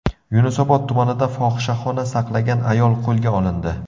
Yunusobod tumanida fohishaxona saqlagan ayol qo‘lga olindi.